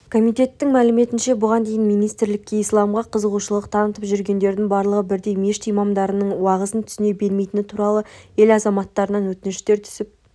комитеттің мәліметінше бұған дейін министрлікке исламға қызығушылық танытып жүргендердің барлығы бірдей мешіт имамдарының уағыздарын түсіне бермейтіні туралы ел азаматтарынан өтініштер түсіп